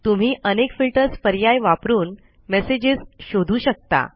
तुम्ही अनेक फिल्टर्स पर्याय वापरून मेसेजेस शोधू शकता